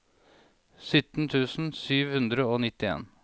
sytten tusen sju hundre og nittien